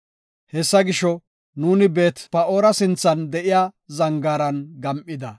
Hessa gisho, nuuni Beet-Pa7oora sinthan de7iya zangaaran gam7ida.